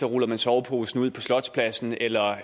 ruller man soveposen ud på slotspladsen eller